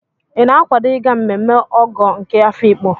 Ị na-akwado ịga mmemme Ọgọ nke Afiikpo?